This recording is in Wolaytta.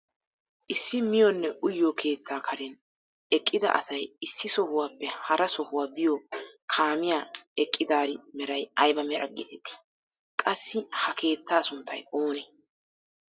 Issi miyiyonne uyiyoo keettaa karen eqqida asay issi sohuwaappe hara sohuwaa biyoo kaamiyaa eqqidaari meray ayba meraa getettii? qassi ha keettaa sunttay oonee?